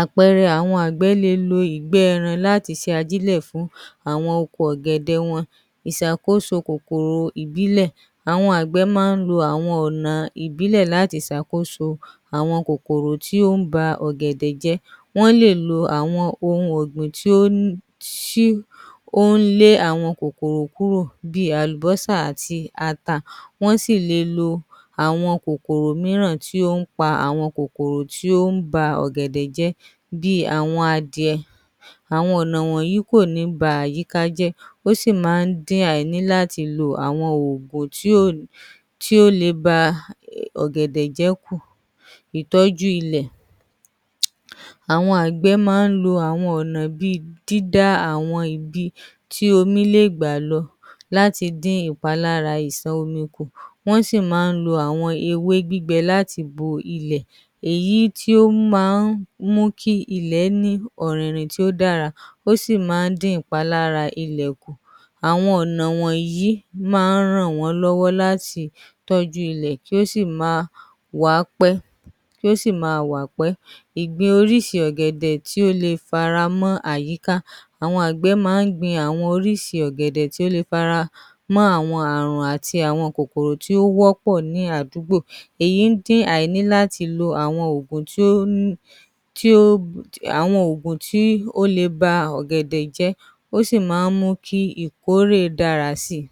Àpẹẹrẹ àwọn àgbẹ̀ le lo ìgbẹ́ ẹran láti ṣe ajílẹ̀ fún àwọn oko ọ̀gẹ̀dẹ̀ wọn, ìṣàkóso àwọn oko ìbílẹ̀, àwọn àgbẹ̀ máa ń lo àwọn ọ̀nà ìbílẹ̀ láti ṣàkóso àwọn kòkòrò tó ń ba ọ̀gẹ̀dẹ jẹ́, wọ́n lè lo àwọn ohun ọ̀gbìn tí ó ń lé àwọn kòkòrò kúrò bíi àlùbọ́sà àti ata, wọ́n sì le lo àwọn kòkòrò mìíràn tó ń pa àwọn kòkòrò tí ó ń ba ọ̀gẹ̀dẹ̀ jẹ́ bíi àwọn adìẹ, àwọn ọ̀nà wọ̀nyí kò ní ba àyíká jẹ́, ó sì máa ń dín àìní láti lo àwọn òògùn tí ó le ba ọ̀gẹ̀dẹ̀ jẹ́ kù. ìtọ́jú ilẹ̀: àwọn àgbẹ̀ máa ń lo àwọn ọ̀nà bíi dídá àwọn ibi tí omi lè gbà lọ láti dín ìpalára àwọn ìṣàn omi kù, wọ́n sì máa ń àwọn ewé gbígbẹ láti bo ilẹ̀, èyí tí ó máa ń mú kí ilẹ̀ ní ọ̀rìnrìn tó dára ó sì máa ń dín ìpalára ilẹ̀ kù, àwọn ọ̀nà wọ̀nyí máa ń ràn wọ́n lọ́wọ́ láti tọ́jú ilẹ̀ tó sì máa wà pẹ́. ìgbìn orísìí ọ̀gẹ̀dẹ tó le fara mọ́ àyíká, àwọn àgbẹ̀ máa ń gbin àwọn orísìí ọ̀gẹ̀dẹ̀ tó le faramọ́ àwọn kòkòrò tó wọ́pọ̀ ní àwọn àdúgbò, èyí ń dín àìní láti lo àwọn òògùn tó le ba ọ̀gẹ̀dẹ̀ jẹ́, ó sì máa ń mú kí ìkórè dára sí i.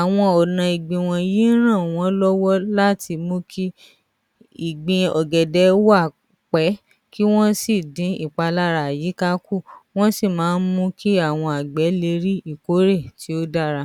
àwọn ọ̀nà ìgbìn wọ̀nyí ń ràn wọ́n lọ́wọ́ láti mú kí ìgbín ọ̀gẹ̀dẹ̀ wà pẹ́, kí wọ́n sì dín ìpalára àwọn àyíká kù, wọ́n sì máa ń mú kí àwọn àgbẹ̀ le rí ìkórè tó dára